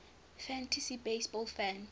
fantasy baseball fans